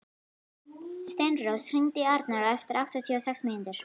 Steinrós, hringdu í Arnar eftir áttatíu og sex mínútur.